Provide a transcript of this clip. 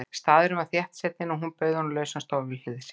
Staðurinn var þéttsetinn og hún bauð honum lausan stól við hlið sér.